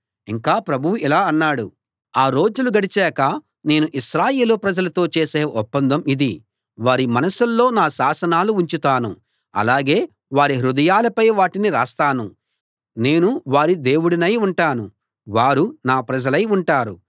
ఇంకా ప్రభువు ఇలా అన్నాడు ఆ రోజులు గడిచాక నేను ఇశ్రాయేలు ప్రజలతో చేసే ఒప్పందం ఇది వారి మనసుల్లో నా శాసనాలు ఉంచుతాను అలాగే వారి హృదయాలపై వాటిని రాస్తాను నేను వారి దేవుడినై ఉంటాను వారు నా ప్రజలై ఉంటారు